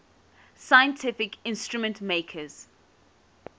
scientific instrument makers